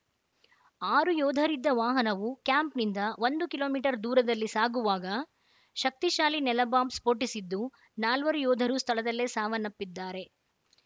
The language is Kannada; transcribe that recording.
ಆರು ಯೋಧರಿದ್ದ ವಾಹನವು ಕ್ಯಾಂಪ್‌ನಿಂದ ಒಂದು ಕಿಲೋ ಮೀಟರ್ ದೂರದಲ್ಲಿ ಸಾಗುವಾಗ ಶಕ್ತಿಶಾಲಿ ನೆಲಬಾಂಬ್‌ ಸ್ಫೋಟಿಸಿದ್ದು ನಾಲ್ವರು ಯೋಧರು ಸ್ಥಳದಲ್ಲೇ ಸಾವನ್ನಪ್ಪಿದ್ದಾರೆ